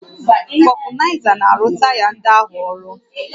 Vulcanizer na-arụ taya ndị ahụ ọrụ